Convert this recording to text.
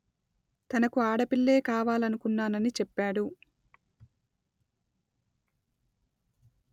తనకు ఆడపిల్లే కావాలనుకున్నానని చెప్పాడు